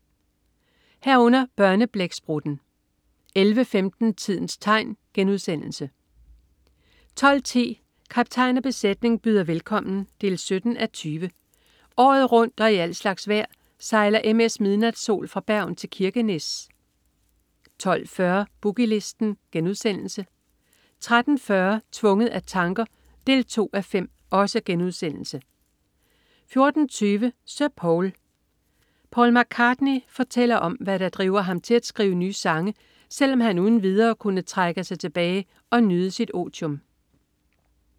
11.00 Børneblæksprutten* 11.15 Tidens tegn* 12.10 Kaptajn og besætning byder velkommen 17:20. Året rundt og i al slags vejr sejler MS "Midnatsol" fra Bergen til Kirkenes 12.40 Boogie Listen* 13.40 Tvunget af tanker 2:5* 14.20 Sir Paul. Paul McCartney fortæller om, hvad der driver ham til at skrive nye sange, selv om han uden videre kunne trække sig tilbage og nyde sit otium